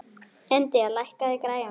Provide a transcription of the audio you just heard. Indía, lækkaðu í græjunum.